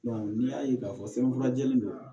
n'i y'a ye k'a fɔ sɛbɛnfura jɛlen don